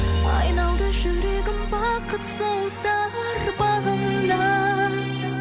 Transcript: айналды жүрегім бақытсыздар бағына